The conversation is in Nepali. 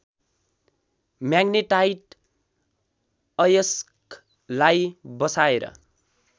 म्याग्नेटाइट अयस्कलाई बसाएर